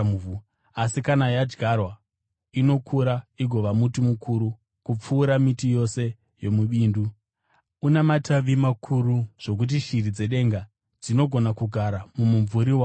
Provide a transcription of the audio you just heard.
Asi kana yadyarwa, inokura igova muti mukuru kupfuura miti yose yomubindu, una matavi makuru zvokuti shiri dzedenga dzinogona kugara mumumvuri wawo.”